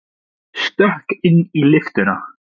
Stökk inn í lyftuna.